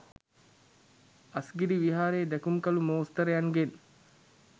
අස්ගිරි විහාරයේ දැකුම්කලූ මෝස්තරයන්ගෙන්